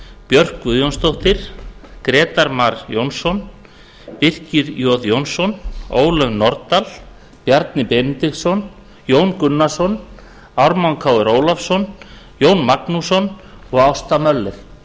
björk guðjónsdóttir grétar mar jónsson birkir j jónsson ólöf nordal bjarni benediktsson jón gunnarsson ármann krónu ólafsson jón magnússon og ásta möller